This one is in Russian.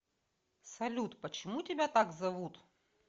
салют почему тебя так зовут